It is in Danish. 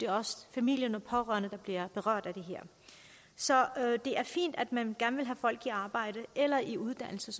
også familierne de pårørende der bliver berørt af det her så det er fint at man gerne vil have folk i arbejde eller i uddannelse